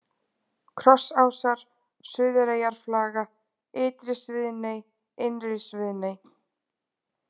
Krossásar, Suðureyjarflaga, Ytri-Sviðney, Innri-Sviðney